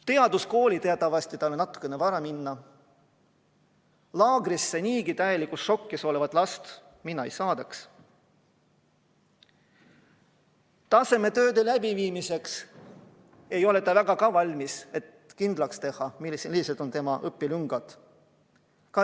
Teaduskooli on teatavasti natukene vara minna, laagrisse niigi täielikus šokis olevat last mina ei saadaks, tasemetööde tegemiseks ei ole ta ka väga valmis, et saaks kindlaks teha, millised on tema õpilüngad.